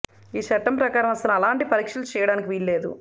ఈ చట్టం ప్రకారం అసలు అలాంటి పరీక్షలు చేయడానికి వీలు లేదు